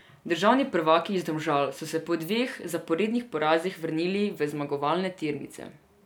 Državni prvaki iz Domžal so se po dveh zaporednih porazih vrnili v zmagovalne tirnice.